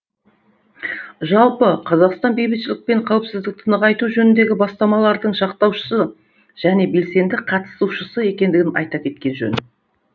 жалпы қазақстан бейбітшілік пен қауіпсіздікті нығайту жөніндегі бастамалардың жақтаушысы және белсенді қатысушысы екендігін айта кеткен жөн